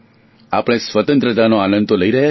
આપણે સ્વતંત્રતાનો આનંદ તો લઇ રહ્યા છે